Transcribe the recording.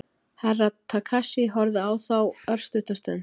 Herra Takashi horfði á þá örstutta stund.